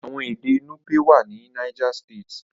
Àwọn èdè nupe wá ní niger state.